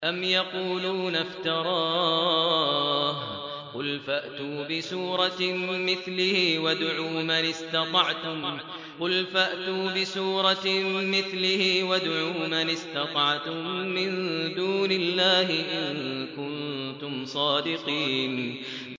أَمْ يَقُولُونَ افْتَرَاهُ ۖ قُلْ فَأْتُوا بِسُورَةٍ مِّثْلِهِ وَادْعُوا مَنِ اسْتَطَعْتُم مِّن دُونِ اللَّهِ إِن كُنتُمْ صَادِقِينَ